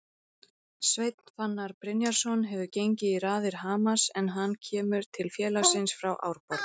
Önnur bandarísk í raðir Vals